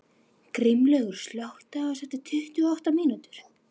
Grímlaugur, slökktu á þessu eftir tuttugu og átta mínútur.